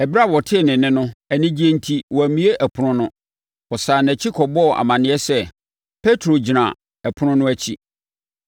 Ɛberɛ a ɔtee nne no, anigyeɛ enti, wammue ɛpono no. Ɔsane nʼakyi kɔbɔɔ amaneɛ sɛ, “Petro gyina ɛpono no akyi.”